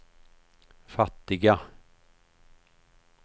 fattiga